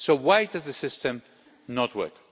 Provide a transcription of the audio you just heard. Why does the system not work?